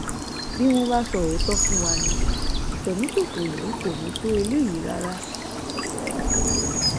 bí wọn bá sọ òótọ fún wa ní ìfẹmíṣòfò yìí kò ní í tó eléyìí rárá